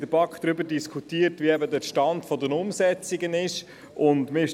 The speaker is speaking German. In der BaK haben wir lange über den Stand der Umsetzungen diskutiert.